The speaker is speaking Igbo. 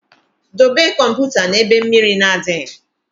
Dobe kọmputa na ebe mmiri na adịghị